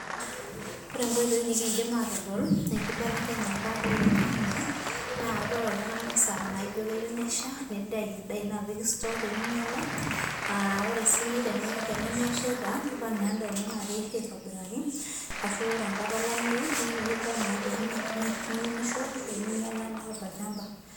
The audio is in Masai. Ore enkoitoi nikindim aatodol enkibelekenyata olaingange naa idol oltungani esaa naijio keyieu nesha nitayu endaa ino apik sitoo peyie meinyiala. Ore sii tenemeshaita nipal naa endaa ino naa keisho aitobiraki ashuu ire enkata olameyu nidil naa peyie miunisho pee meinyiala endaa tolchamba